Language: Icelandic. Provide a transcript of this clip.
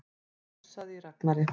Það hnussaði í Ragnari.